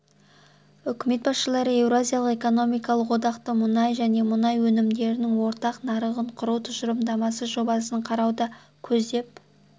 үкімет басшылары еуразиялық экономикалық одақтың мұнай және мұнай өнімдерінің ортақ нарығын құру тұжырымдамасы жобасын қарауды көздеп